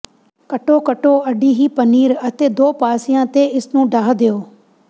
ਕੱਟੋ ਕੱਟੋ ਅਡੀਹੀ ਪਨੀਰ ਅਤੇ ਦੋ ਪਾਸਿਆਂ ਤੇ ਇਸ ਨੂੰ ਢਾਹ ਦਿਓ